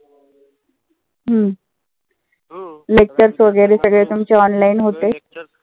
हम्म lectures वगैरे सगळे तुमचे online होते.